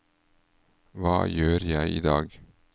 hva gjør jeg idag